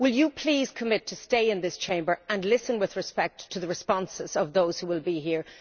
Will you please commit to staying in this Chamber and listening with respect to the responses of those who will be here?